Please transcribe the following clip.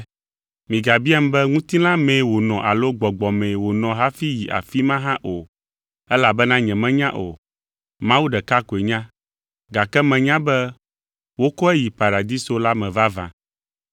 Migabiam be ŋutilã mee wònɔ alo gbɔgbɔ mee wònɔ hafi yi afi ma hã o, elabena nyemenya o. Mawu ɖeka koe nya, gake menya be wokɔe yi Paradiso la me vavã.